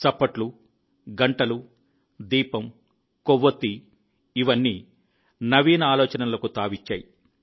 చప్పట్లు గంటలు దీపం కొవ్వొత్తి ఇవన్నీ నవీన ఆలోచనలకు తావిచ్చాయి